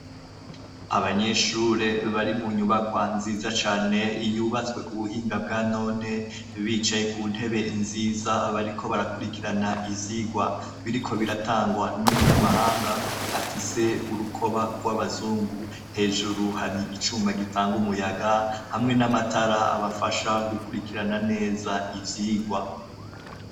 Abanyeshure bari mu nyubakwa nziza cane yubatswe ku buhinga bwa none bicaye ku ntebe nziza, bariko barakwirikirana ivyigwa biriko biratangwa n'umunyamahanga afise urukoba rw'abazungu. Hejuru hari icuma gitanga umuyaga hamwe n'amatara abafasha gukwirikirana neza ivyigwa.